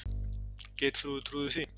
Geirþrúður trúði því.